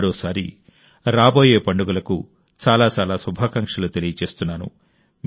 మరోసారి రాబోయే పండుగలకు చాలా చాలా శుభాకాంక్షలు తెలియజేస్తున్నాను